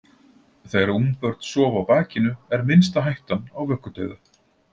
Þegar ungbörn sofa á bakinu er minnsta hættan á vöggudauða.